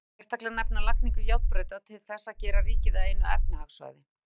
Má þar sérstaklega nefna lagningu járnbrauta til þess að gera ríkið að einu efnahagssvæði.